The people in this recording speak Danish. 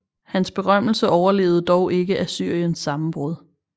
Hans berømmelse overlevede dog ikke Assyriens sammenbrud